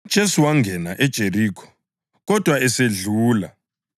UJesu wangena eJerikho kodwa esedlula.